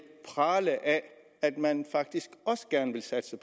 prale af at man faktisk også gerne vil satse